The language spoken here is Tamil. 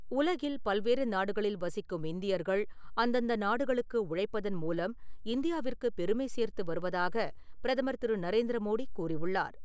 உலகில் பல்வேறு நாடுகளில் வசிக்கும் இந்தியர்கள் அந்தந்த நாடுகளுக்கு உழைப்பதன் மூலம் இந்தியாவிற்குப் பெருமை சேர்த்து வருவதாகப் பிரதமர் திரு நரேந்திர மோடி கூறியுள்ளார்.